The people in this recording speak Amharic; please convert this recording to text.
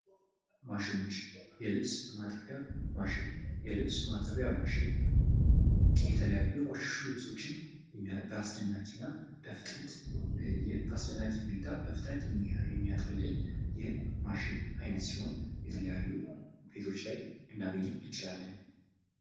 ማሽኖች ። የልብስ ማጠቢያ ማሽን ፡ የልብስ ማጠቢያ ማሽን የተለያዩ የቆሸሹ ልብሶችን በአስደንጋጭ እና በፍጥነት በአስደናቂ ሁኔታ በፍጥነት የሚያጥብልን የማሽን አይነት ሲሆን የተለያዩ ቤቶች ላይ ልናገኘው እንችላለን ።